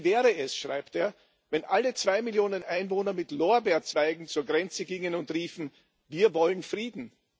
Wie wäre es, schreibt er, wenn alle zwei Millionen Einwohner mit Lorbeerzweigen zur Grenze gingen und riefen Wir wollen Frieden!?